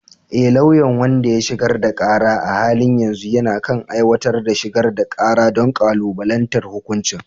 E, lauyan wanda ya shigar da kara a halin yanzu yana kan aiwatar da shigar da kara don kalubalantar hukuncin